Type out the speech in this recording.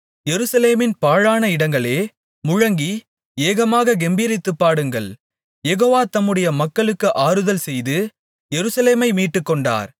எருசலேமின் பாழான இடங்களே முழங்கி ஏகமாகக் கெம்பீரித்துப் பாடுங்கள் யெகோவா தம்முடைய மக்களுக்கு ஆறுதல்செய்து எருசலேமை மீட்டுக்கொண்டார்